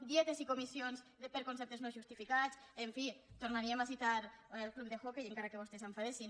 dietes i comissions per conceptes no justificats en fi tornaríem a citar el club d’hoquei encara que vostès s’enfadessin